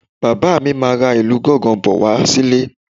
Bàbá mi máa ra ìlù gángan bọ̀ wá sílé